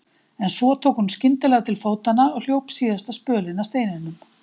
En svo tók hún skyndilega til fótanna og hljóp síðasta spölinn að steininum.